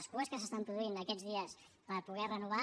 les cues que s’estan produint aquests dies per poder renovar